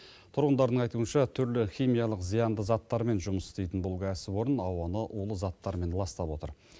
тұрғындардың айтуынша түрлі химиялық зиянды заттармен жұмыс істейтін бұл кәсіпорын ауаны улы заттармен ластап отыр